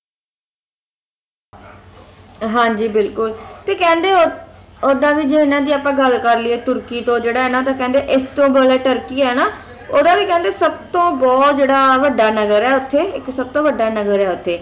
ਹਾਂ ਜੀ ਬਿਲਕੁਲ ਤੇ ਕਹਿੰਦੇ ਓਦਾਂ ਵੀ ਆਪਾਂ ਜੇ ਇਨ੍ਹਾਂ ਦੀ ਗੱਲ ਕਰ ਲਿਏ ਤੁਰਕੀ ਤੋਂ ਜਿਹੜਾ ਇਨ੍ਹਾਂ ਦਾ ਕਹਿੰਦੇ ਇਸਤੋਂ ਬੜਾ ਤੁਰਕੀ ਹੈ ਨਾ ਓਹਦਾ ਵੀ ਕਹਿੰਦੇ ਸਭ ਤੋਂ ਬਹੁਤ ਜਿਹੜਾ ਵੱਢਾ ਨਗਰ ਹੈ ਉੱਥੇ ਇੱਕ ਸਭ ਤੋਂ ਵੱਢਾ ਨਗਰ ਹੈ ਉੱਥੇ